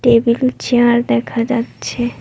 Table ও chair দেখা যাচ্ছে।